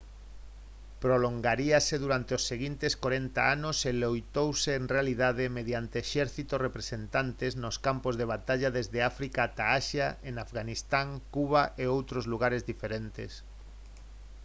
prolongaríase durante os seguintes corenta anos e loitouse en realidade mediante exércitos representantes nos campos de batalla desde áfrica ata asia en afganistán cuba e outros lugares diferentes